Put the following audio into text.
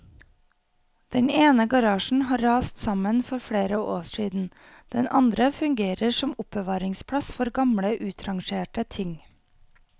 Den ene garasjen har rast sammen for flere år siden, den andre fungerer som oppbevaringsplass for gamle utrangerte ting.